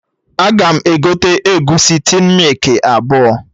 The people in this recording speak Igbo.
Aga m egote egusi tin mịkị abụọ